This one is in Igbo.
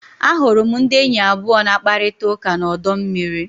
Ahụrụ m ndị enyi abụọ na-akparịta ụka na ọdọ mmiri.